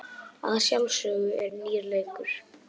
Að sjálfsögðu er nýr leikur.